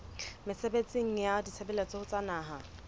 mesebetsing ya ditshebeletso tsa naha